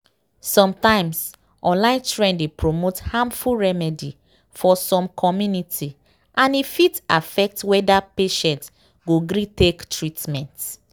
sometimes online trend dey promote harmful remedy for some community and e fit affect whether patient go gree take treatment.